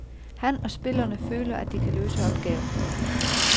Han og spillerne føler, at de kan løse opgaven.